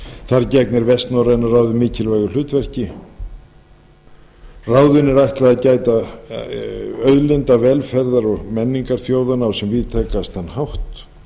þar gegnir vestnorræna ráðið mikilvægu hlutverki ráðinu er ætlað að gæta auðlindar velferðar og menningar þjóðanna á sem víðtækastan hátt